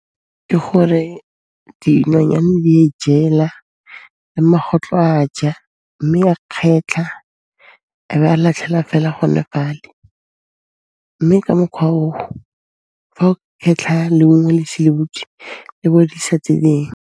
Ke gore dinonyane di e jela le magotlo a ja mme a kgetlha a be a latlhela fela gone fale, mme ka mokhwa oo fa o khetlha leungo le ise le butswe, le bodisa tse dingwe.